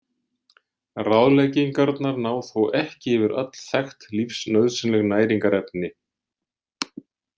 Ráðleggingarnar ná þó ekki yfir öll þekkt lífsnauðsynleg næringarefni.